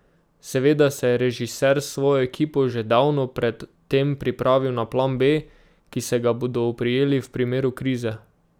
Seveda se je režiser s svojo ekipo že davno pred tem pripravil na plan B, ki se ga bodo oprijeli v primeru krize.